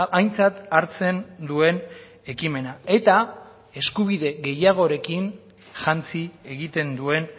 aintzat hartzen duen ekimena eta eskubide gehiagorekin jantzi egiten duen